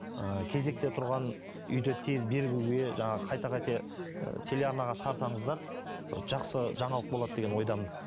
ы кезекте тұрған үйді тез беруге жаңағы қайта қайта ы телеарнаға шығарсаңыздар бір жақсы жаңалық болады деген ойдамын